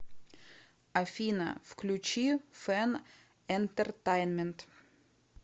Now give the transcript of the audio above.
афина включи фэн энтертайнмент